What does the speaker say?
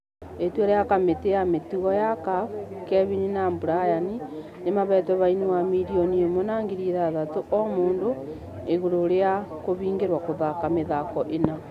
Itua rĩa kamĩtĩ ya mĩtugo ya CAF , kelvin na brian nĩmahetwo faĩni ya miirrioni ĩmwe na ngĩri ithathatu o mũndũ ĩgũrũ rĩa gũhĩngerwo gũthaka mĩthako ĩna.